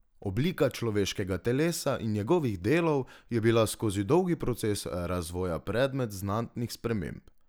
Oblika človeškega telesa in njegovih delov je bila skozi dolgi proces razvoja predmet znatnih sprememb.